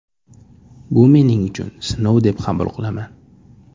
Bu mening uchun sinov deb qabul qilaman.